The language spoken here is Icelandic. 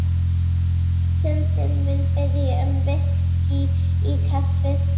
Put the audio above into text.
Syndin mun biðja um VISKÍ í kaffið.